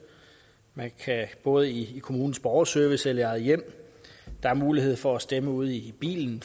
både i kommunens borgerservice og i eget hjem der er mulighed for at stemme ude i bilen